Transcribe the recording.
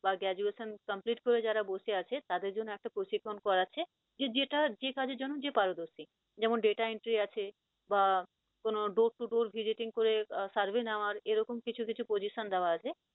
বা graduation complete করে যারা বসে আছে তাদের জন্য একটা প্রশিক্ষন করাচ্ছে যে যেটা যে কাজের জন্য যে পারদর্শী, যেমন data entry বা কোন door to door visiting করে survey নেওয়ার এরকম কিছু কিছু position দেওয়া আছে